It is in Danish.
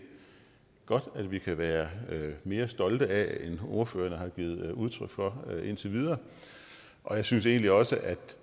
godt kan være mere stolte af end ordførerne har givet udtryk for indtil videre og jeg synes egentlig også at